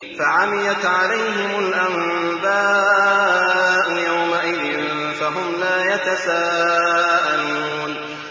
فَعَمِيَتْ عَلَيْهِمُ الْأَنبَاءُ يَوْمَئِذٍ فَهُمْ لَا يَتَسَاءَلُونَ